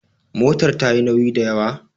motar ta yi nauyi da ywa?